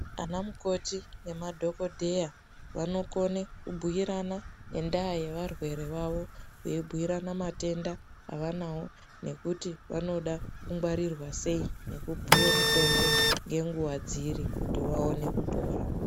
Anamukoti nemadhokodheya vanokone kubhuirana ngendaa yevarwere vavo. Veibhuirana matenda avanawo nekuti vanoda kungwarirwa sei nekupuwe mutombo nenguwa dziri kuti vaone kupora.